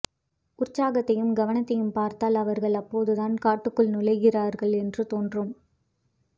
உற்சாகத்தையும் கவனத்தையும் பார்த்தால் அவர்கள் அப்போதுதான் காட்டுக்குள் நுழைகிறார்கள் என்று தோன்றும்